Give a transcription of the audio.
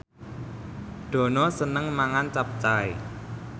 Dono seneng mangan capcay